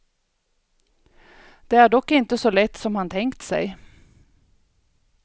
Det är dock inte så lätt som han tänkt sig.